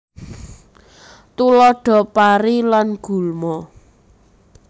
Tuladha Pari lan gulma